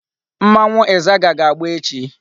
Mmanwu Izaga ga-agba echi